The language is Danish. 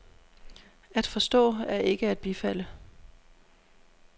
At forstå er ikke at bifalde.